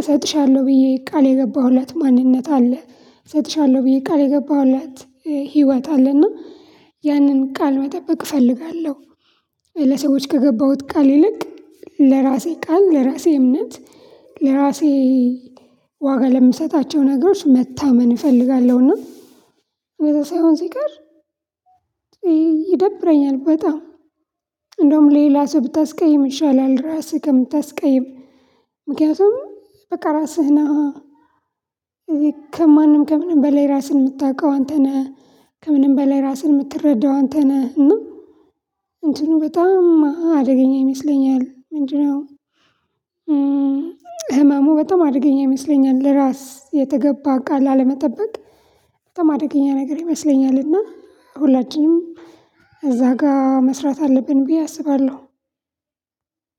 እሰጥሻለሁ ብዬ ቃል የገባሁለት ማንነት አለ እሰጥሻለሁ ብዬ ቃል የገባሁላት ህይወት አለና ያንን ቃል መጠበቅ እፈልጋለሁ። ለሰዎች ከገባሁት ቃል ይልቅ ለራሴ ቃል ለራሴ እምነት ለራሴ ዋጋ ለምሰጣቸው ነገሮች መታመን እፈልጋለሁና። እንደዛ ሳይሆን ሲቀር ይደብረኛል። በጣም እንደውም ሌላ ሰው ብታስቀይም ይሻላል ራስህ ከምታስቀይም ምክንያቱም በቃ ራስህነሀ ከማንም ከምንም በላይ ራስህን እምታቀው አንተ ነህ። ከምንም በላይ ራስህን እምትረዳው አንተ ነህ። እና እንትኑ በጣም አደገኛ ይመስለኛል ምንድነው? ህመሙ በጣም አደገኛ ይመስለኛል ለራስ የተገባ ቃል አለመጠበቅ በጣም አደገኛ ነገር ይመስለኛል። እና ሁላችንም እዛ ጋር መስራት አለብን ብዬ አስባለሁ።